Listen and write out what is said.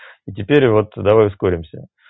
и теперь вот давай ускоримся